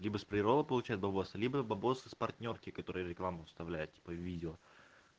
либо с прерола получает бабосы либо бабосы с партнёрки которые рекламу вставляют типа в видео